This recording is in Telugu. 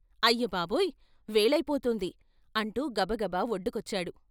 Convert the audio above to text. అయ్య బాబోయ్! వేళయి పోతోంది " అంటూ గబగబా వొడ్డుకొచ్చాడు.